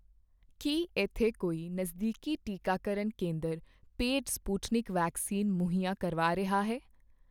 ਕੀ ਇੱਥੇ ਕੋਈ ਨਜ਼ਦੀਕੀ ਟੀਕਾਕਰਨ ਕੇਂਦਰ ਪੇਡ ਸਪੁਟਨਿਕ ਵੈਕਸੀਨ ਮੁਹੱਈਆ ਕਰਵਾ ਰਿਹਾ ਹੈ?